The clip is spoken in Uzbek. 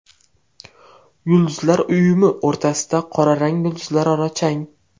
Yulduzlar uyumi o‘rtasidagi qora rang yulduzlararo chang.